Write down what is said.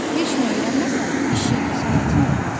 Heç nə öyrənməsən işin, sənətin olmaz.